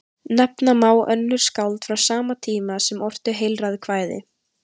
Nefna má önnur skáld frá sama tíma sem ortu heilræðakvæði.